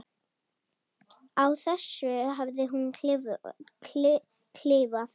Á þessu hafði hún klifað.